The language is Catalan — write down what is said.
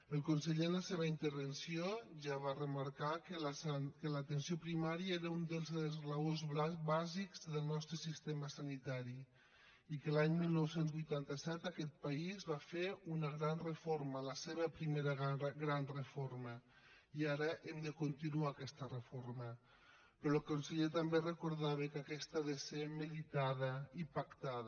el conseller en la seva intervenció ja va remarcar que l’atenció primària era un dels esglaons bàsics del nostre sistema sanitari i que l’any dinou vuitanta set aquest país va fer una gran reforma la seva primera gran reforma i ara hem de continuar aquesta reforma però el conseller també recordava que aquesta ha de ser meditada i pactada